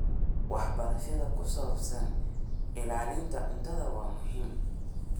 Waxbarashada ku saabsan ilaalinta cuntada waa muhiim.